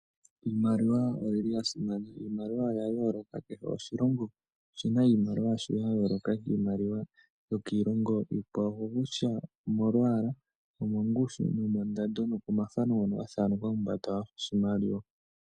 Iimaliwa oyili ya simana, iimaliwa oya yooloka kehe oshilongo oshina iimaliwa yasho ya yooloka kiimaliwa yokiilongo iikwawo oko kutya omolwaalwaa omongushu nomondando noko mathano ngono ga thananekwa kombanda yoshimaliwa.